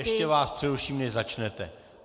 Ještě vás přeruším, než začnete.